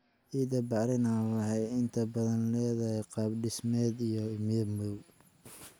Ciidda bacrin ah waxay inta badan leedahay qaab dhismeed iyo midab madow.